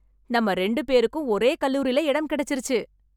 நம்ம ரெண்டு பேருக்கும் ஒரே கல்லூரில இடம் கிடைச்சுருச்சு.